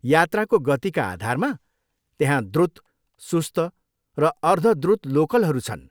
यात्राको गतिका आधारमा त्यहाँ द्रुत, सुस्त र अर्ध द्रुत लोकलहरू छन्।